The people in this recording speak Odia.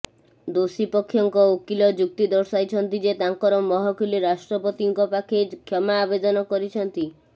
ଦୋଷୀ ପକ୍ଷଙ୍କ ଓକିଲ ଯୁକ୍ତି ଦର୍ଶାଇଛନ୍ତି ଯେ ତାଙ୍କ ମହକିଲ ରାଷ୍ଟ୍ରପତିଙ୍କ ପାଖେ କ୍ଷମା ଆବେଦନ କରିଛନ୍ତି